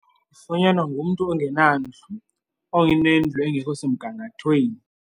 Zifunyanwa ngumntu ongenandlu, onendlu engekho semgangathweni.